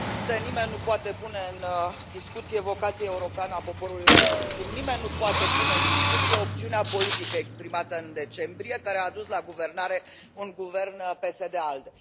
Domnule președinte, nimeni nu poate pune în discuție vocația europeană a poporului român. Cum nimeni nu poate pune în discuție opțiunea politică exprimată în decembrie, care a dus la guvernare un guvern PSD ALDE.